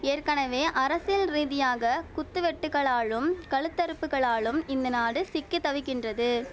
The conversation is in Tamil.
ஏற்கனவே அரசியல் ரீதியாக குத்து வெட்டுக்களாலும் கழுத்தறுப்புக்களாலும் இந்த நாடு சிக்கி தவிக்கின்றது